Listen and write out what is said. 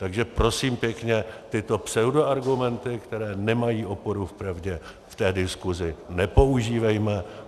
Takže prosím pěkně, tyto pseudoargumenty, které nemají oporu v pravdě, v té diskuzi nepoužívejme.